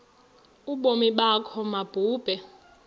ubomi bakho mabube